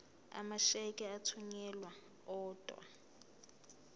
amasheke athunyelwa odwa